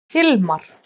Hilmar